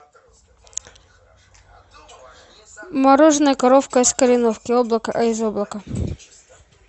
мороженое коровка из кореновки облако из облака